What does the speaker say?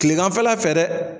Kileganfɛla fɛ dɛ.